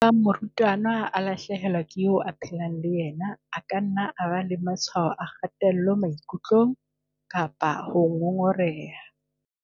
"Ebang morutwana a lahle helwa ke eo a phelang le yena, a ka nna a ba le matshwao a kgatello maikutlong kapa a ho ngongoreha."